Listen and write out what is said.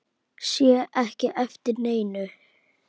Sé ekki eftir neinu.